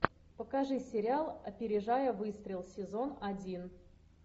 покажи сериал опережая выстрел сезон один